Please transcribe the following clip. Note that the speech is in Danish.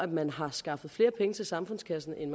man har skaffet flere penge til samfundskassen end